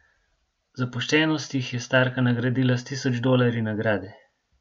Za poštenost jih je starka nagradila s tisoč dolarji nagrade.